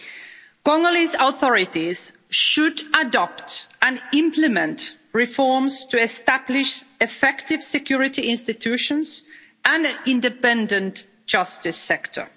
The Congolese authorities should adopt and implement reforms to establish effective security institutions and an independent justice sector.